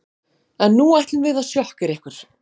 En nú ætlum við að sjokkera ykkur.